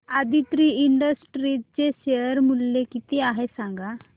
Aditri industries चे share मूल्य किती आहे सांगा